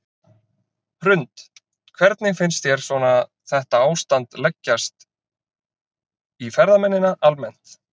Hrund: Hvernig finnst þér svona þetta ástand leggjast í ferðamennina almennt?